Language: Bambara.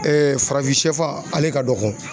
farafinsɛfan ale ka dɔgɔn.